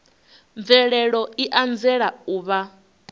mvelelo i anzela u vha